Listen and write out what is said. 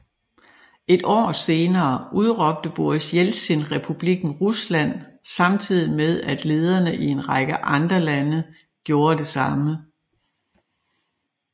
Et år senere udråbte Boris Jeltsin Republikken Rusland samtidig med at lederne i en række andre lande gjorde det samme